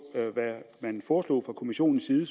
hvad man foreslog fra kommissionens side